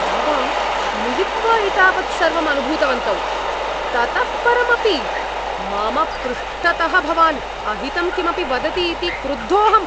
आवां मिलित्वा एतावत् सर्वम् अनुभूतवन्तौ, ततः परमपि मम पृष्ठतः भवान् अहितं किमपि वदति इति क्रुद्धोऽहम्।